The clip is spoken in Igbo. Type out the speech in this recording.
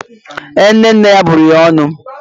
Ee, nne nne ya bụrụ ya ọnụ.